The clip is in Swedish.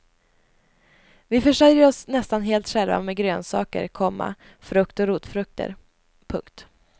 Vi försörjer oss nästan helt själva med grönsaker, komma frukt och rotfrukter. punkt